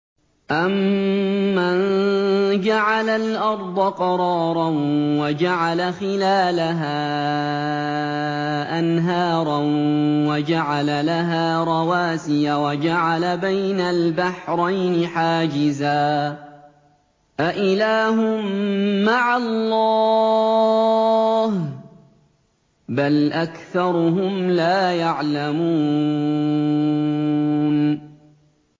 أَمَّن جَعَلَ الْأَرْضَ قَرَارًا وَجَعَلَ خِلَالَهَا أَنْهَارًا وَجَعَلَ لَهَا رَوَاسِيَ وَجَعَلَ بَيْنَ الْبَحْرَيْنِ حَاجِزًا ۗ أَإِلَٰهٌ مَّعَ اللَّهِ ۚ بَلْ أَكْثَرُهُمْ لَا يَعْلَمُونَ